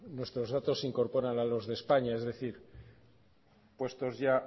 nuestros datos se incorporan a los de españa es decir puestos ya